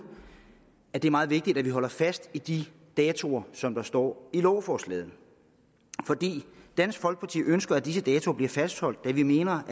at det er meget vigtigt at man holder fast i de datoer som der står i lovforslaget dansk folkeparti ønsker at disse datoer bliver fastholdt da vi mener